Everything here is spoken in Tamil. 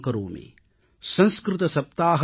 अभिनन्दनं करोमि |